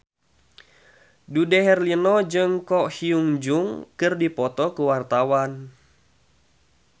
Dude Herlino jeung Ko Hyun Jung keur dipoto ku wartawan